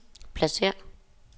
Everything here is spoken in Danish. pladsér